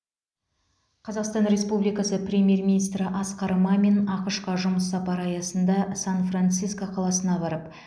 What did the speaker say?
қазақстан республикасы премьер министрі асқар мамин ақш қа жұмыс сапары аясында сан франциско қаласына барып